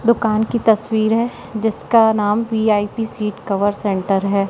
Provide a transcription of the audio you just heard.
दुकान की तस्वीर है जिसका नाम वी_आई_पी सीट कवर सेंटर है।